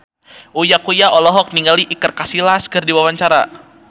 Uya Kuya olohok ningali Iker Casillas keur diwawancara